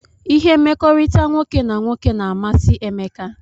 Ihe mmekọrịta nwoke na nwoke na amasi Emeka